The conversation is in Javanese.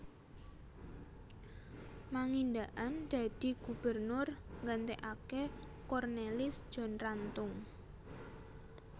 Mangindaan dadi Gubernur nggantekaké Cornelis John Rantung